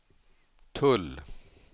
tull